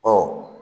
Ɔ